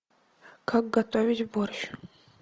как готовить борщ